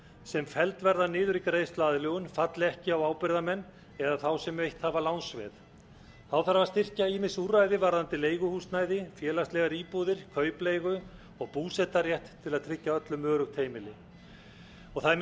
sem felld verða niður í greiðsluaðlögun falli ekki á ábyrgðarmenn eða þá sem veitt hafa lánsveð þá þarf að styrkja ýmis úrræði varðandi leiguhúsnæði félagslegar íbúðir kaupleigu og búsetarétt til að tryggja öllum öruggt heimili það er